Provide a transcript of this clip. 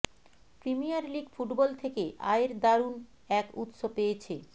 premier league football থেকে আয়ের দারুণ এক উৎস পেয়েছে